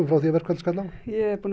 frá því að verkfalllið skall á ég er búin að